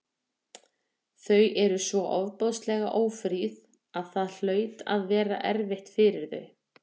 Þau voru svo ofboðslega ófríð að það hlaut að vera erfitt fyrir þau.